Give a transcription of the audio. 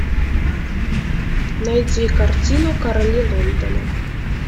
найди картину короли лондона